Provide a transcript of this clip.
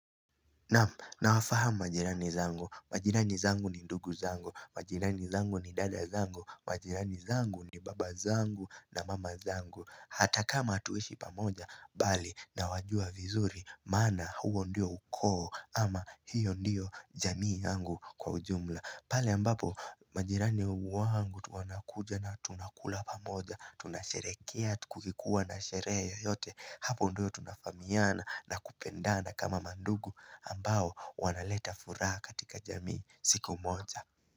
Nawafahamu majirani zangu, majirani zangu ni ndugu zangu, majirani zangu ni dada zangu, majirani zangu ni baba zangu na mama zangu hata kama hatuishi pamoja bali nawajua vizuri maana huo ndio ukoo ama hiyo ndio jamii yangu kwa ujumla pale ambapo majirani wangu wanakuja na tunakula pamoja, tunasherekea kukikuwa na sherehe yoyote Hapo ndio tunafahamiana na kupendana kama mandugu ambao wanaleta furaha katika jamii siku moja.